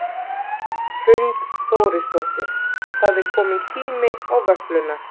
Hrund Þórsdóttir: Það er komin tími á vöfflurnar?